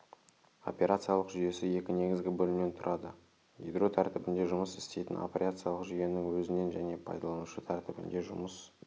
операциялық жүйесі екі негізгі бөлімнен тұрады ядро тәртібінде жұмыс істейтін операциялық жүйенің өзінен және пайдаланушы тәртібінде жұмыс